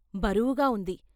బరువుగా ఉంది.